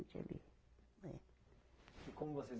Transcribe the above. Ali, né? E como vocês